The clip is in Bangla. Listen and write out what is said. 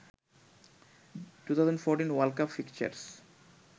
2014 world cup fixtures